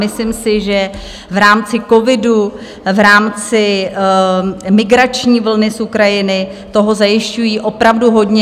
Myslím si, že v rámci covidu, v rámci migrační vlny z Ukrajiny toho zajišťují opravdu hodně.